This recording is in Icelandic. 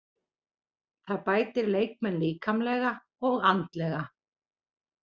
Það bætir leikmenn líkamlega og andlega.